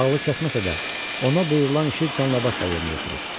Ağlı kəsməsə də, ona buyurulan işi canla-başla yerinə yetirir.